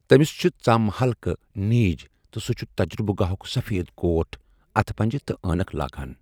تٔمِس چِھ ژَم ہلکہٕ نیٖجۍ تہٕ سُہ چُھ تجرُبہٕ گاہُک سفید کوٹھ، اتھہٕ پنجہٕ تہٕ عیٖنَک لاگان ۔